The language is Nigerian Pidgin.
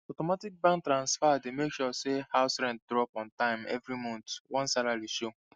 automatic bank transfer dey make sure say house rent dey drop ontime every month once salary show